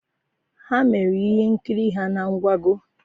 Ha mere ihe nkiri ha na nkwago